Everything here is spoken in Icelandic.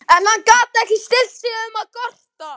En hann gat ekki stillt sig um að gorta.